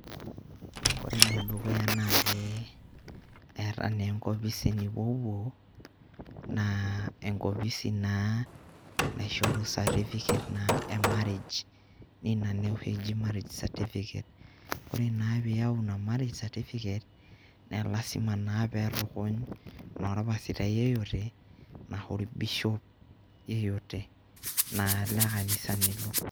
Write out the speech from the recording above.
Ore ene dukuya naake eeta naa enkopisi nipopuo naa enkopisi naa naishoru certificate e marriage niina naa oshi eji marriage certificate. Ore naa piyau ina marriae certificate naa lazima naa peetukuny orpasitai yeyote anashe orbishop yeyote naa le kanisa nilo.